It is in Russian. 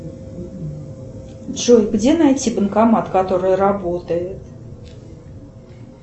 джой где найти банкомат который работает